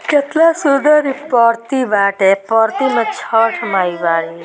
कितना सुंदर यह प्रति बाते प्रति में छठ माई बा |